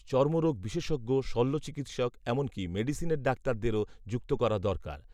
চর্মরোগ বিশেষজ্ঞ, শ‌ল্য চিকিৎসক, এমনকি মেডিসিনের ডাক্তারদেরও যুক্ত করা দরকার